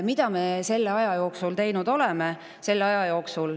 Mida me selle aja jooksul teinud oleme?